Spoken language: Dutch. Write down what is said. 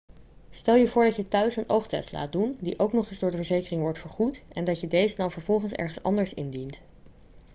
stel je voor dat je thuis een oogtest laat doen die ook nog eens door de verzekering wordt vergoed en dat je deze dan vervolgens ergens anders indient